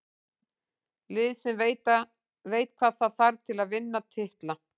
Lið sem veit hvað þarf til að vinna titla.